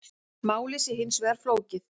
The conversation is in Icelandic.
Málið sé hins vegar flókið